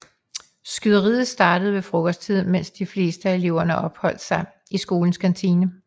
Skyderiet startede ved frokosttid mens de fleste af eleverne opholdt sig i skolens kantine